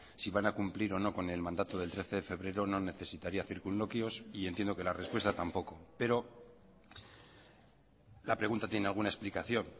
si van a cumplir o no con el mandato del trece de febrero no necesitaría circunloquios y entiendo que la respuesta tampoco pero la pregunta tiene alguna explicación